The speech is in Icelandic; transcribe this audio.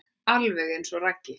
Alveg eins og Raggi.